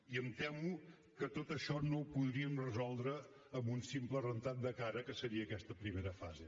i em temo que tot això no ho podríem resoldre amb un simple rentat de cara que seria aquesta primera fase